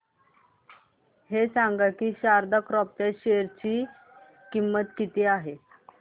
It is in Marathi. हे सांगा की शारदा क्रॉप च्या शेअर ची किंमत किती आहे